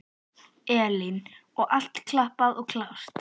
Elín: Og allt klappað og klárt?